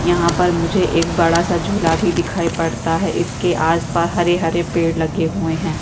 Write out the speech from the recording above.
यहाँ पर मुझे बड़ा सा एक झूला भी दिखाई पड़ता है इसके आस-पास हरे-हरे पेड़ लगे हुए है।